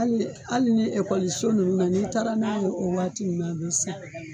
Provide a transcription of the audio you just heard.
ali ali ni ekɔliso nunnu na ni taara n'a ye o waati nunnu na be san